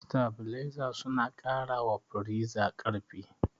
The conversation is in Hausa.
Sitabileza suna ƙara wa firiza ƙarfi.